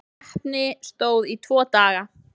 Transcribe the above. Keppni stóð í tvo daga.